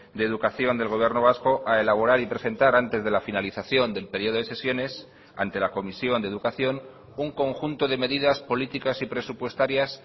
de educación del gobierno vasco a elaborar y presentar antes de la finalización del periodo de sesiones ante la comisión de educación un conjunto de medidas políticas y presupuestarias